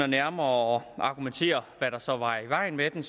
nærmere at argumentere hvad der så var i vejen med den